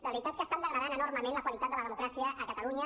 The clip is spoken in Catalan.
de veritat que estan degradant enormement la qualitat de la democràcia a catalunya